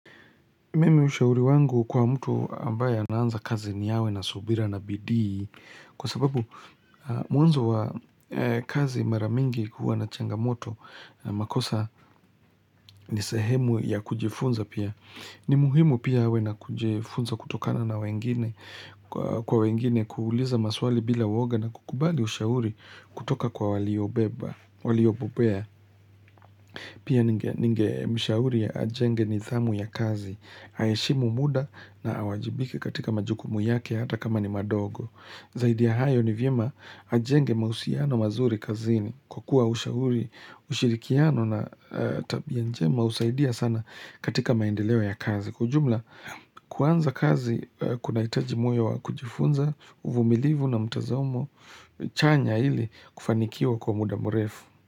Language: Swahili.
Mimi ushauri wangu kwa mtu ambaye anaanza kazi, ni awe na subira na bidii kwa sababu mwanzo wa kazi mara mingi huwa na changamoto, makosa ni sehemu ya kujifunza pia. Ni muhimu pia awe na kujifunza kutokana na kwa wengine kuuliza maswali bila uoga na kukubali ushauri kutoka kwa waliobobea. Pia, ningemshauri ajenge nidhamu ya kazi, aheshimu muda na awajibike katika majukumu yake hata kama ni madogo. Zaidi ya hayo, ni vyema ajenge mahusiano mazuri kazini kwa kuwa ushirikiano na tabia njema husaidia sana katika maendeleo ya kazi. Kwa ujumla, kuanza kazi kunahitaji moyo wa kujifunza, uvumilivu na mtazamo chanya ili kufanikiwa kwa muda mrefu.